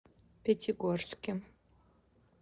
пятигорске